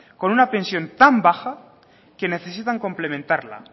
con una pensión tan baja que necesitan complementarla